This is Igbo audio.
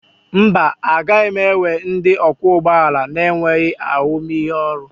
Mba, agaghị m ewe ndị ọkwọ ụgbọ ala na-enweghị ahụmịhe ọrụ